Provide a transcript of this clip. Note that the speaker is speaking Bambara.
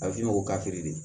A bɛ f'u ye ko ka feere de